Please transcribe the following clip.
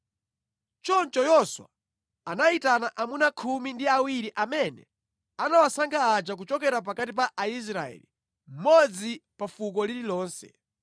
Choncho Yoswa anayitana amuna khumi ndi awiri amene anawasankha aja kuchokera pakati pa Aisraeli, mmodzi pa fuko lililonse,